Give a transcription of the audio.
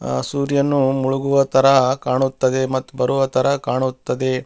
ಆ ಸೂರ್ಯನು ಮುಳುಗುವ ತರ ಕಾಣುತ್ತದೆ ಮತ್ತು ಬರುವ ತರ ಕಾಣುತ್ತದೆ.